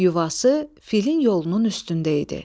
Yuvası filin yolunun üstündə idi.